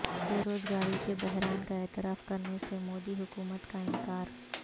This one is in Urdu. بیروزگاری کے بحران کا اعتراف کرنے سے مودی حکومت کا انکار